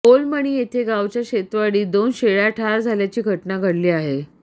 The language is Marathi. ओलमणी येथे गावाच्या शेतवाडीत दोन शेळ्या ठार झाल्याची घटना घडली आहे